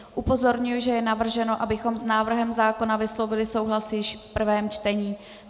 Upozorňuji, že je navrženo, abychom s návrhem zákona vyslovili souhlas již v prvém čtení.